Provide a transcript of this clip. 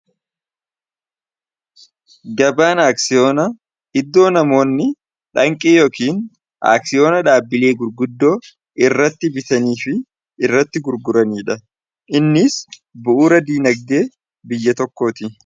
gabaan aksiyoonaa iddoo namoonni dhaanqii yookiin aksiyoonaa dhaabbilee gurguddoo irratti bitanii fi irratti gurguranii dha innis bu'uura diinagdee biyya tokkoo ti